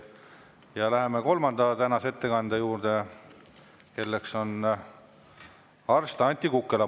Ja läheme kolmanda tänase ettekandja juurde, kelleks on arst Anti Kukkela.